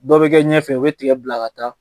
Dɔ bɛ kɛ ɲɛfɛ o bɛ tigɛ bila ka taa,